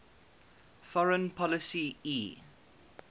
foreign policy e